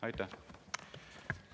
Aitäh!